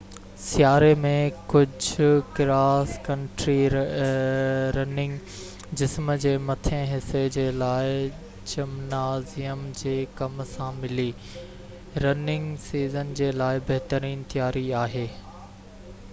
سياري ۾ ڪجهه cross country running جسم جي مٿين حصي جي لاءِ جمنازيم جي ڪم سان ملي رننگ سيزن جي لاءِ بهترين تياري آهي